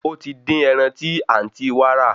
Ó ti dín ẹran tí àǹtí wa rà